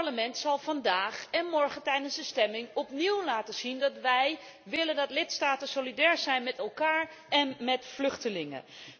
Dit Parlement zal vandaag, en morgen tijdens de stemming, opnieuw laten zien dat wij willen dat lidstaten solidair zijn met elkaar en met vluchtelingen.